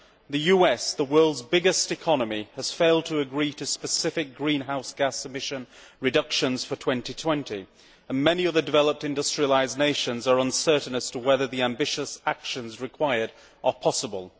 The US, the world's biggest economy, has failed to agree to specific greenhouse gas emission reductions for 2020, and many other developed industrialised nations are uncertain as to whether the ambitious actions required are possible.